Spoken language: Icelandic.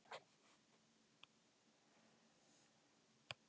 en hæg og svöl